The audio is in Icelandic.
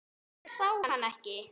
Hún sá hann ekki.